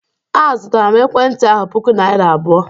Azụtara m ekwentị ahụ puku naira abụọ.